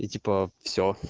и типа все